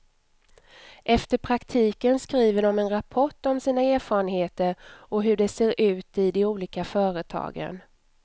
Efter praktiken skriver de en rapport om sina erfarenheter och hur det ser ut i på de olika företagen.